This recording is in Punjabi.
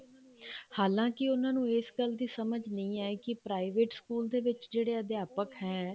ਹਾਲਾਂ ਕੀ ਉਹਨਾ ਨੂੰ ਈ ਗੱਲ ਦੀ ਸਮਝ ਨੀ ਆਈ ਕੇ private ਸਕੂਲ ਦੇ ਵਿੱਚ ਜਿਹੜੇ ਅਧਿਆਪਕ ਹੈ